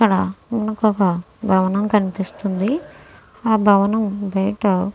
ఇక్కడ మనకొక భవనం కనిపిస్తుంది. ఆ భవనం బయట--